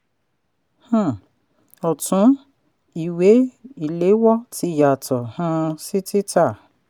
um ọ̀tún: ìwé-ìléwọ́ tí yàtọ̀ um sí títà.